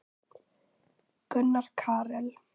Gunnar Karel.